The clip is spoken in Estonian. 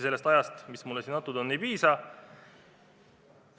Sellest ajast, mis mulle siin antud on, kindlasti ei piisaks.